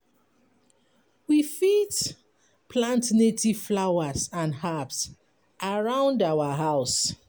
We fit plant native flowers and herbs around our house